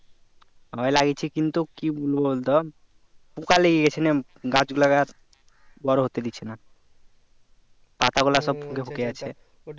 ওই লাগিয়েছি কিন্তু কি বলবো বলতো পোকা লেগে গেছে গাছ লাগানোর বড়ো হতে দিচ্ছে না পাতা গুলো সব ফুটো ফুটো হয় আছে